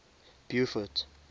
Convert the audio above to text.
beaufort